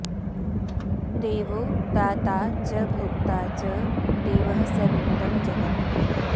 देवो दाता च भोक्ता च देवः सर्वमिदं जगत्